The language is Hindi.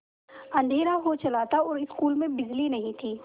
अँधेरा हो चला था और स्कूल में बिजली नहीं थी